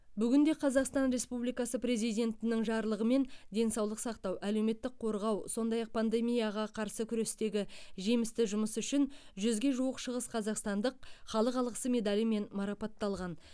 бүгінде қазақстан республикасы президентінің жарлығымен денсаулық сақтау әлеуметтік қорғау сондай ақ пандемияға қарсы күрестегі жемісті жұмысы үшін жүзге жуық шығысқазақстандық халық алғысы медалімен марапатталған